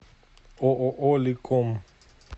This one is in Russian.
ооо ликом